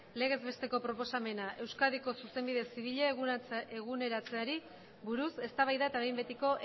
legez besteko proposamena euskadiko zuzenbide zibila eguneratzeari buruz eztabaida eta behin betiko